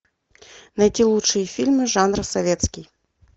найти лучшие фильмы жанра советский